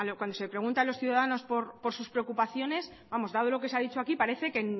cuando se pregunta a los ciudadanos por sus preocupaciones vamos dado lo que se ha dicho aquí parece que